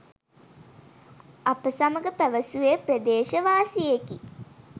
අප සමඟ පැවසුවේ ප්‍රදේශවාසියෙකි.